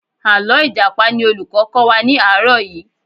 Àlọ́ Ìjàpá ni olùkọ́ kọ́ wa ní àárọ̀ yìí